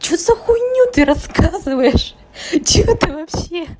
что-то хуйню ты рассказываешь что ты вообще